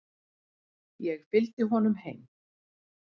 Ég fylgdi honum heim.